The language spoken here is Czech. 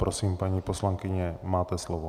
Prosím, paní poslankyně, máte slovo.